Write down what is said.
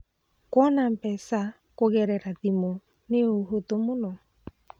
Kuona mbeca kũgerera thimũ nĩ ũhũthũ mũno.